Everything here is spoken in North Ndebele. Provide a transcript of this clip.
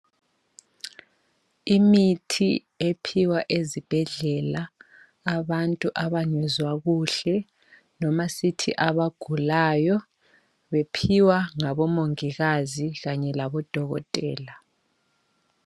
Imithi ephiwa ezibhedlela, abantu abangezwa kuhle noma sithi abagulayo, bephiwa ngabomongikazi kanye labodokotela.